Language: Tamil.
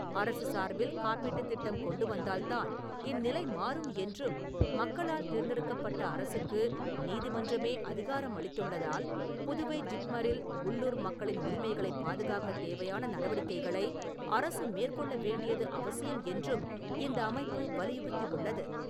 அரசு சார்பில் காப்பீட்டுத் திட்டம் கொண்டு வந்தால்தான் இந்நிலை மாறும் என்றும், மக்களால் தேர்ந்தெடுக்கப்பட்ட அரசுக்கு நீதிமன்றமே அதிகாரம் அளித்துள்ளதால், புதுவை ஜிப்மரில் உள்ளூர் மக்களின் உரிமைகளைப் பாதுகாக்கத் தேவையான நடவடிக்கைகளை அரசு மேற்கொள்ள வேண்டியது அவசியம் என்றும் இந்த அமைப்பு வலியுறுத்தியுள்ளது.